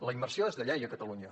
la immersió és de llei a catalunya